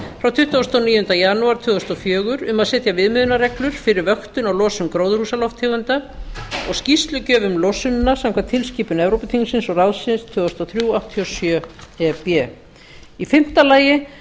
frá tuttugasta og níunda janúar tvö þúsund og fjögur um að setja viðmiðunarreglur fyrir vöktun og losun gróðarhúsalofttegunda og skýrslugjöf um losunina samkvæmt tilskipun evrópuþingsins og ráðsins tvö þúsund og þrjú áttatíu og sjö e b fimmta